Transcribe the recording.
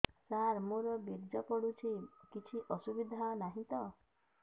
ସାର ମୋର ବୀର୍ଯ୍ୟ ପଡୁଛି କିଛି ଅସୁବିଧା ନାହିଁ ତ